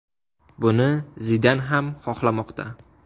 Buni Zidan ham xohlamoqda.